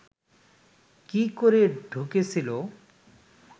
কি করে ঢুকেছিল